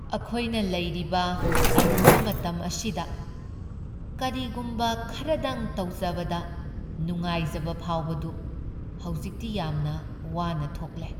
ꯑꯈꯣꯏꯅ ꯂꯩꯔꯤꯕ ꯑꯔꯨꯕ ꯃꯇꯝ ꯑꯁꯤꯗ ꯀꯔꯤꯒꯨꯝ ꯈꯔꯗꯪ ꯇꯧꯖꯕꯗ ꯅꯨꯡꯉꯥꯏꯖꯕ ꯐꯥꯎꯕꯗꯨ ꯍꯧꯖꯤꯛꯇꯤ ꯌꯥꯝꯅ ꯋꯥꯅ ꯊꯣꯛꯂꯦ ꯫